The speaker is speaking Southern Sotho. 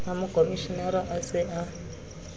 ha mokomshenara a se a